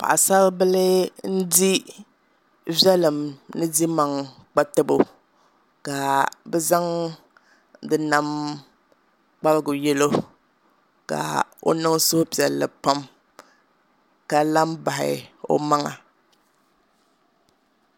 Paɣasaribili n di diɛma ni yiɣijɛm kpatabo ka bi zaŋ di nam kparigu yɛlo ka o niŋ suhupiɛlli pam ka la n bahi o maŋa